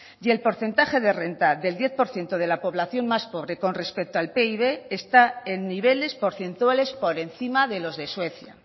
y el porcentaje de renta del diez por ciento de la población más pobre con respecto al pib está en niveles porcentuales por encima de los de suecia